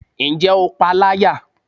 Ǹjẹ́ o pa a láyà?